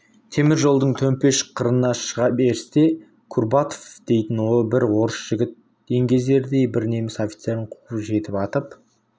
темір жолдың төмпеш қырына шыға берісте курбатов дейтін бір орыс жігіті еңгезердей бір неміс офицерін қуып жетіп атып